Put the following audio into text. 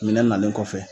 Minɛn nalen kɔfɛ